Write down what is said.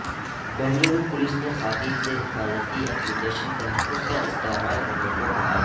Bengaluru police نے خواتین سے حفاظتی اپلی کیشن تحفظ کا استعمال کرنے کو کہا